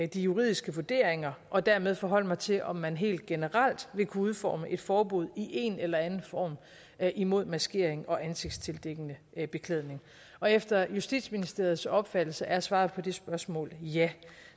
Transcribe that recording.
de juridiske vurderinger og dermed forholde mig til om man helt generelt vil kunne udforme et forbud i en eller anden form imod maskering og ansigtstildækkende beklædning efter justitsministeriets opfattelse er svaret på det spørgsmål ja